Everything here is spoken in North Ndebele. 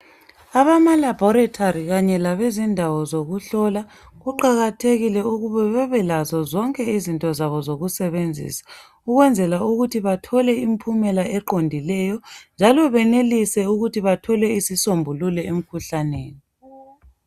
Abama laboratory kanye labezindawo zokuhlola kuqakathekile ukuba bebelazo zonke izinto zabo zokusebenzisa ukwenzela ukuthi bathole imphumela eqomdileyo njalo benelise ukuthi bathole isisombuluko emkhuhlaneni